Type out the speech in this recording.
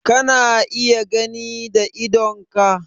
Kana iya gani da idonka?